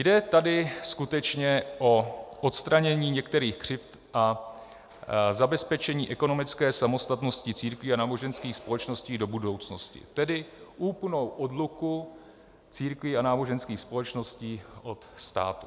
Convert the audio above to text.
Jde tady skutečně o odstranění některých křivd a zabezpečení ekonomické samostatnosti církví a náboženských společností do budoucnosti, tedy úplnou odluku církví a náboženských společností od státu.